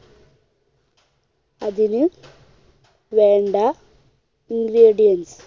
അതിന് വേണ്ട ingredients